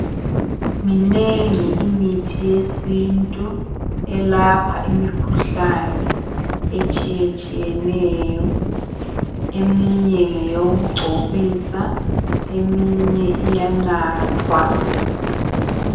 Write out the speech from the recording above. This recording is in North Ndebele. Minengi imithi yesintu elapha imikhuhlani etshiyatshiyeneyo. Eminye ngeyokugcobisa, eminye iyanathwa.